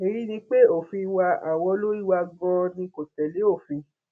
èyí ni pé òfin wa àwọn olórí wa ganan ni kò tẹlé òfin